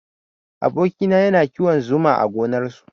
Aboki na yana kiwon zuma a gonar su